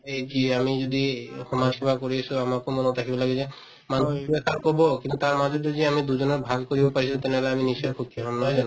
এই কি আমি যদি সমাজসেৱা কৰি আছিলো আমাকো মনত ৰাখিব লাগে যে মানুহটোতো এটা কব কিন্তু তাৰ মাজত যদি আমি দুজনৰ ভাল কৰিব পাৰিছো তেনেহলে আমি নিশ্চয় সুখী হম নহয় জানো